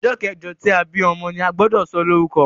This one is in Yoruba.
ojó keje tí a bí ọmọ ní agbodo so lórúko